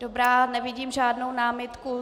Dobrá, nevidím žádnou námitku.